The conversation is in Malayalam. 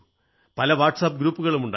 പല വാട്സ് ആപ് ഗ്രൂപ്പുകളും ഉണ്ടായി